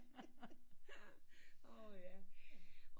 Åh ja